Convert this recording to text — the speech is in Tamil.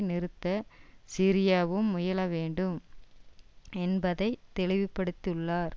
நிறுத்த சிரியாவும் முயலவேண்டும் என்பதை தெளிவுபடுத்தியுள்ளார்